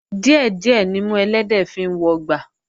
Díẹ̀ díẹ̀ nimú ẹlẹ́dẹ̀ẹ́ fi ń wọgbà